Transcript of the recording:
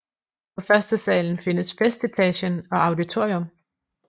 På førstesalen findes festetagen og auditorium